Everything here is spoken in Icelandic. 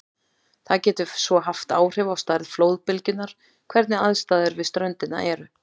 Það getur svo haft áhrif á stærð flóðbylgjunnar hvernig aðstæður við ströndina eru.